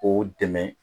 K'o dɛmɛ